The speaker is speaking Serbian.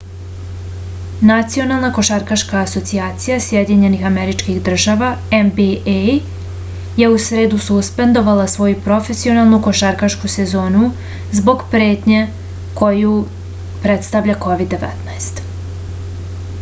национална кошаркашка асоцијација сједињених америчких држава нба је у среду суспендовала своју професионалну кошаркашку сезону због претње коју представља covid-19